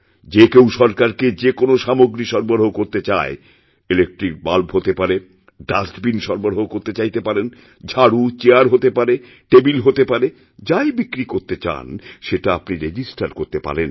যে কেউ সরকারকে যে কোনও সামগ্রী সরবরাহকরতে চায় ইলেক্ট্রিক বাল্ব হতে পারে ডাস্টবিন সরবরাহ করতে চাইতে পারেন ঝাড়ুচেয়ার হতে পারে টেবিল হতে পারে যাই বিক্রি করতে চান সেটা আপনি রেজিস্টার করতেপারেন